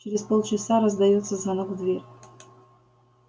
через полчаса раздаётся звонок в дверь